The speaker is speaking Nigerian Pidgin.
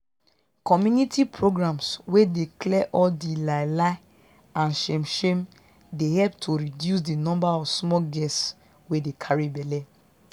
community programs wey dey clear all di lie lie and shame shame dey help to reduce di number of small girls wey dey carry belle